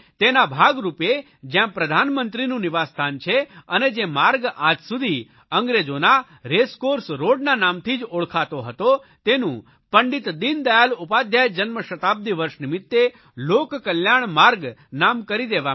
તેના ભાગરૂપે જયાં પ્રધાનમંત્રીનું નિવાસસ્થાન છે અને જે માર્ગ આજસુધી અંગ્રેજોના રેસક્રોર્સ રોડ ના નામથી જ ઓળખાતો હતો તેનું પંડિત દીનદયાળ ઉપાધ્યાય જન્મ શતાબ્દી વર્ષ નિમિત્તે લોકકલ્યાણ માર્ગ નામ કરી દેવામાં આવ્યું છે